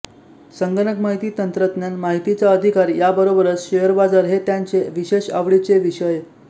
संगणक माहिती तंत्रज्ञान माहितीचा अधिकार याबरोबरच शेअर बाजार हे त्यांचे विशेष आवडीचे विषय